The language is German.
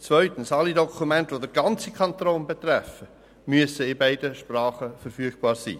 Zweitens: Alle Dokumente, die den ganzen Kanton betreffen, müssen in beiden Sprachen verfügbar sein.